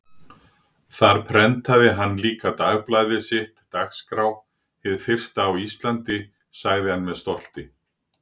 Þar prentaði hann líka dagblaðið sitt, Dagskrá, hið fyrsta á Íslandi, sagði hann með stolti.